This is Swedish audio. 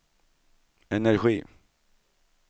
energi